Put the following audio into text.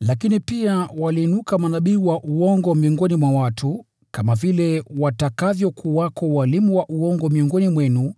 Lakini pia waliinuka manabii wa uongo miongoni mwa watu, kama vile watakavyokuwako walimu wa uongo miongoni mwenu.